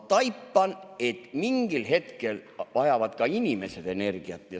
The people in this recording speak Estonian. Ma taipan, et mingil hetkel vajavad ka inimesed energiat.